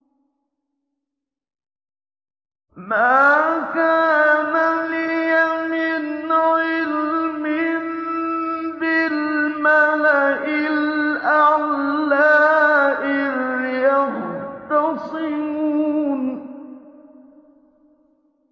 مَا كَانَ لِيَ مِنْ عِلْمٍ بِالْمَلَإِ الْأَعْلَىٰ إِذْ يَخْتَصِمُونَ